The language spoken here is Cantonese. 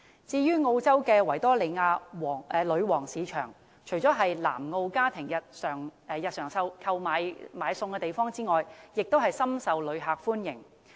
至於澳洲的維多利亞女王市場，除了是南澳家庭日常購買食物的地方外，也深受旅客歡迎。